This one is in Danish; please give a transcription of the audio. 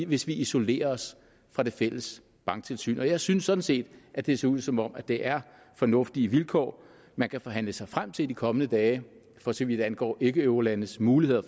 hvis vi isolerer os fra det fælles banktilsyn jeg synes sådan set at det ser ud som om det er fornuftige vilkår man kan forhandle sig frem til i de kommende dage for så vidt angår ikkeeurolandes muligheder